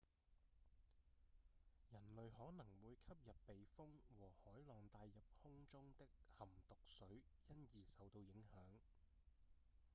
人類可能會吸入被風和海浪帶入空中的含毒水因而受到影響